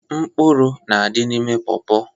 Mkpụrụ na-adị n'ime pọọpọ.